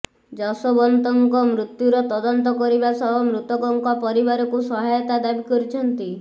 ଯଶୋବନ୍ତଙ୍କ ମୃତ୍ୟୁର ତଦନ୍ତ କରିବା ସହ ମୃତକଙ୍କ ପରିବାରକୁ ସହାୟତା ଦାବି କରିଛନ୍ତି